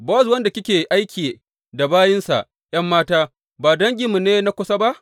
Bowaz wanda kike aiki da bayinsa ’yan mata ba danginmu ne na kusa ba?